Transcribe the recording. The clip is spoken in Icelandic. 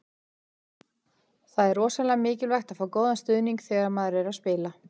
Það er rosalega mikilvægt að fá góðan stuðning þegar maður er að spila.